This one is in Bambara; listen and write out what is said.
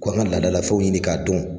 Ko an ŋa laadalafɛnw ɲini k'a dɔn